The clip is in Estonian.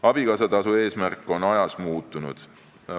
Abikaasatasu eesmärk on ajas muutunud.